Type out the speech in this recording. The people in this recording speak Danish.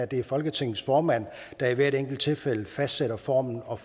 det er folketingets formand der i hvert enkelt tilfælde fastsætter formen og